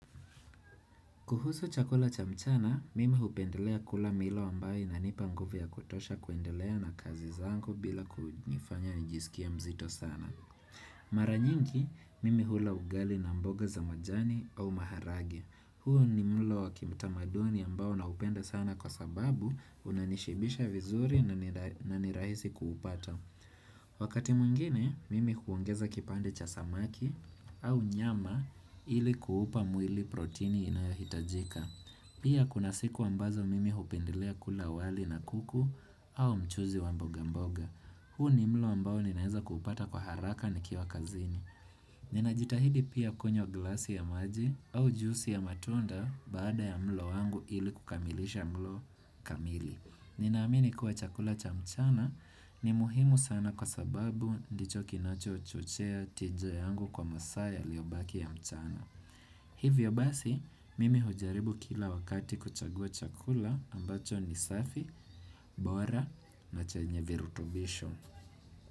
Kuhusu chakula cha mchana, mimi hupendelea kula milo ambaye inanipa nguvu ya kutosha kuendelea na kazi zangu bila kujifanya nijisikie mzito sana. Mara nyinki, mimi hula ugali na mboga za majani au maharage. Huo ni mulo wa kimtamaduni ambao naupenda sana kwa sababu unanishibisha vizuri na ni rahisi kuupata. Wakati mwingine, mimi huongeza kipande cha samaki au nyama ili kuupa mwili protini inayohitajika Pia kuna siku ambazo mimi hupendelea kula wali na kuku au mchuzi wa mboga mboga huu ni mlo ambao ninaeza kupata kwa haraka nikiwa kazini Ninajitahidi pia kunywa glasi ya maji au jusi ya matunda baada ya mlo wangu ili kukamilisha mlo kamili Ninaamini kuwa chakula cha mchana ni muhimu sana kwa sababu ndicho kinachochochea tija yangu kwa masaa yaliobakia mchana. Hivyo basi, mimi hujaribu kila wakati kuchagua chakula ambacho ni safi, bora na chenye virutubisho.